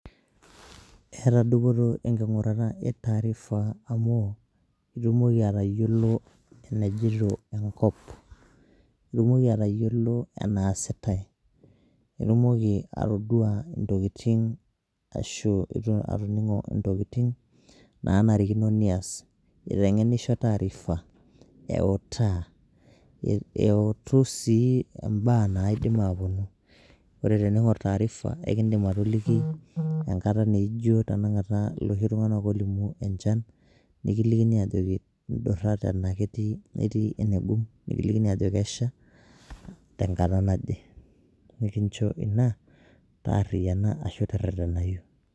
Eeta dupoto enkingurata e taarifa amu itumoki atayiolo enajito enkop ,itumoki atayiolo enaasitai, itumoki atoduaa ntokitin naishaa nidol aashu naishaa niyas ,eitengenisho taarifa ,uetaa, eutu sii mbaaa naidim aapuonu. Ore teningor taarifa nindim atoliki naijo naaji loshi tungana oolimu enchan nikilikini aajoki ndurra tenaa itii enegum nikilikini aajoki kesha tenata naje nikincho ina teretenayu.